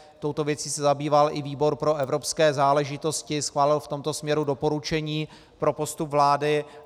Touto věcí se zabýval i výbor pro evropské záležitosti, schválil v tomto směru doporučení pro postup vlády.